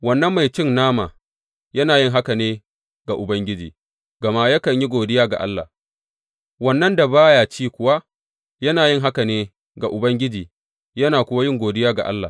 Wannan mai cin nama, yana yin haka ne ga Ubangiji, gama yakan yi godiya ga Allah; wannan da ba ya ci kuwa, yana yin haka ne ga Ubangiji yana kuwa yin godiya ga Allah.